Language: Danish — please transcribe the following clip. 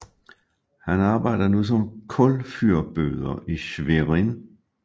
Han arbejder nu som kulfyrbøder i Schwerin